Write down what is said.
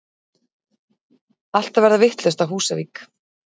Allt að verða vitlaust á Húsavík!!!!!